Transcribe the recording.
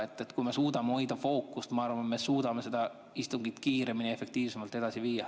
Ma arvan, et kui me suudame hoida fookust, siis me suudame seda istungit kiiremini ja efektiivsemalt edasi viia.